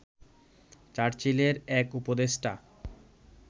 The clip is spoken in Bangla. চার্চিলের এক উপদেষ্টা